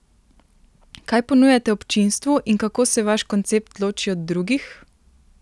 Kaj ponujate občinstvu in kako se vaš koncept loči od drugih?